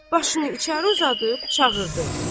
Başını içəri uzadıb çağırdı.